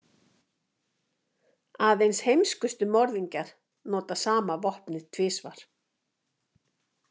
Aðeins heimskustu morðingjar nota sama vopnið tvisvar.